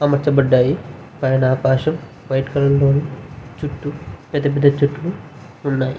అమార్చబడ్డాయి పైన ఆకాశం white colour లోను చుట్టూ పెద్ధ పెద్ధ చెట్లు ఉన్నాయి.